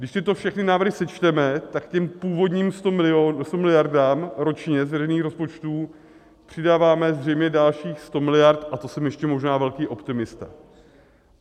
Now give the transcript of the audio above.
Když tyto všechny návrhy sečteme, tak k původním 100 miliardám ročně z veřejných rozpočtů přidáváme zřejmě dalších 100 miliard, a to jsem ještě možná velký optimista.